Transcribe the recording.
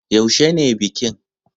Yaushe ne bikin?